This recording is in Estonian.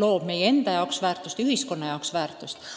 loob igaühe enda ja ka ühiskonna jaoks uut väärtust.